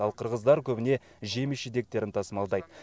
ал қырғыздар көбіне жеміс жидектерін тасымалдайды